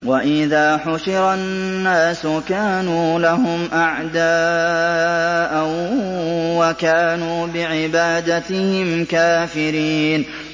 وَإِذَا حُشِرَ النَّاسُ كَانُوا لَهُمْ أَعْدَاءً وَكَانُوا بِعِبَادَتِهِمْ كَافِرِينَ